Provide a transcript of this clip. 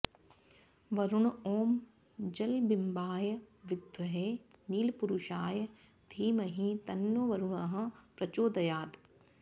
वरुण ॐ जलबिम्बाय विद्महे नीलपुरुषाय धीमहि तन्नो वरुणः प्रचोदयात्